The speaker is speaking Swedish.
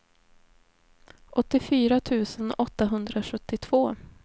åttiofyra tusen åttahundrasjuttiotvå